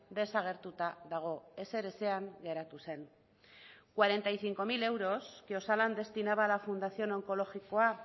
desagertuta dago ezer ezean geratu zen cuarenta y cinco mil euros que osalan destinaba a la fundación onkologikoa